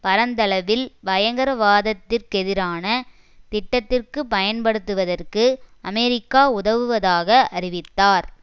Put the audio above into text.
பரந்தளவில் பயங்கரவாதத்திற் கெதிரான திட்டத்திற்கு பயன்படுத்துவதற்கு அமெரிக்கா உதவுவதாக அறிவித்தார்